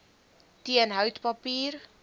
teen hout papier